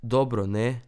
Dobro, ne?